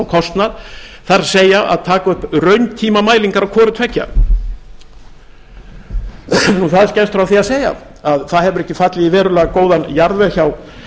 og kostnað það er að taka upp rauntímamælingar á hvoru tveggja það er skemmst frá því að segja að það hefur ekki fallið í verulega góðan jarðveg hjá